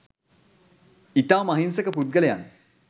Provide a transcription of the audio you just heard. ඉතාම අහින්සක පුද්ගලයන්.